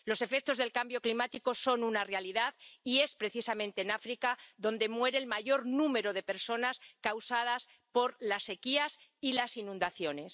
Los efectos del cambio climático son una realidad, y es precisamente en África donde muere el mayor número de personas como consecuencia de las sequías y las inundaciones.